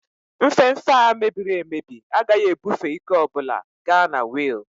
Nfefe a mebiri emebi agaghị ebufe ike ọ bụla ga na wiil